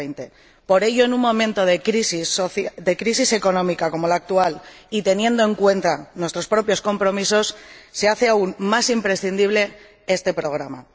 2020. Por ello, en un momento de crisis económica como la actual y teniendo en cuenta nuestros propios compromisos, se hace aún más imprescindible este programa.